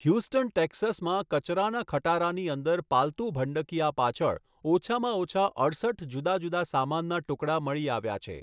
Houston, ટેક્સાસમાં કચરાના ખટારાની અંદર પાલતું ભંડકીયા પાછળ ઓછામાં ઓછા અડસઠ જુદા જુદા સામાનના ટુકડા મળી આવ્યા છે.